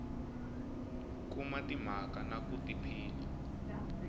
kuma timhaka na ku tiphina